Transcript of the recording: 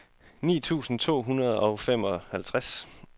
ni tusind to hundrede og femoghalvtreds